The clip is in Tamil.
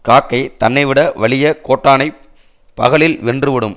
காக்கை தன்னை விட வலிய கோட்டானைப் பகலில் வென்று விடும்